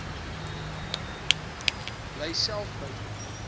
bly self buite